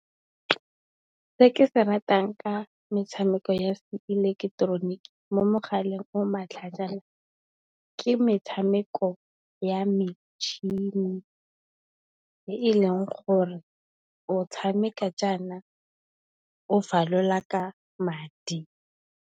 Se ke se ratang ka metshameko ya seileketeroniki mo mogaleng o matlhaajana, ke metshameko ya metšhini e e leng gore o tshameka jaana o falola ka madi.